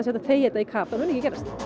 þegja þetta í kaf það mun ekki gerast